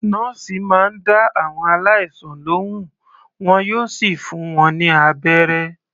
Nọ́ọ̀sì máa ń dá àwọn aláìsàn lohùn, wọn yóò sì fún wọn ní abẹ́rẹ́.